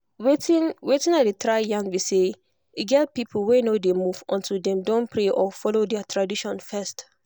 wetin wetin i dey try yarn be say e get people wey no dey move until dem don pray or follow their tradition first.